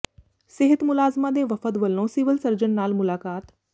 ਸਿਹਤ ਮੁਲਾਜ਼ਮਾਂ ਦੇ ਵਫ਼ਦ ਵੱਲੋਂ ਸਿਵਲ ਸਰਜਨ ਨਾਲ ਮੁਲਾਕਾਤ